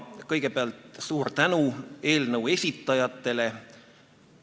Kõigepealt suur tänu eelnõu esitajatele!